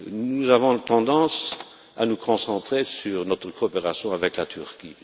Nous avons tendance à nous concentrer sur notre coopération avec la Turquie.